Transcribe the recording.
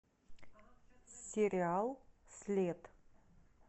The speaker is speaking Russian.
сериал след